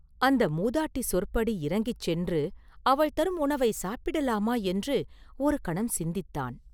அந்த மூதாட்டி சொற்படி இறங்கிச் சென்று அவள் தரும் உணவைச் சாப்பிடலாமா என்று ஒருகணம் சிந்தித்தான்.